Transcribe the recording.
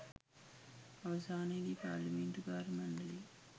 අවසානයේදී පාර්ලිමේන්තු කාර්ය මණ්ඩලයේ